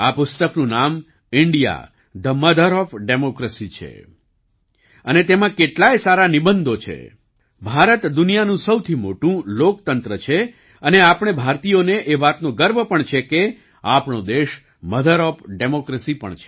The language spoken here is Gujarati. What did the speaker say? આ પુસ્તકનું નામ India the mother of democracy